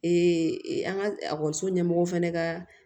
an ka ekɔliso ɲɛmɔgɔw fana ka